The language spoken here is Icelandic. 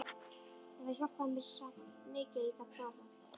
En það hjálpaði mér samt mikið að ég gat borðað.